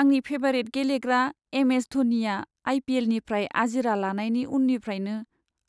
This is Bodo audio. आंनि फेबारिट गेलेग्रा एम.एस. धनीया आइ.पि.एल.निफ्राय आजिरा लानायनि उननिफ्रायनो